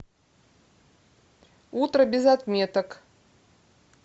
утро без отметок